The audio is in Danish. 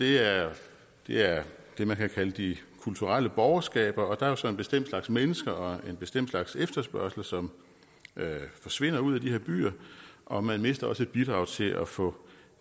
er det er det man kan kalde de kulturelle borgerskaber der er jo så en bestemt slags mennesker og en bestemt slags efterspørgsel som forsvinder ud af de her byer og man mister også et bidrag til at få